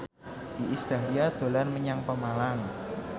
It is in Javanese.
Iis Dahlia dolan menyang Pemalang